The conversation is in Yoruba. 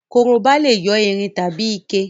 Korobá lè yé irin tàbí ike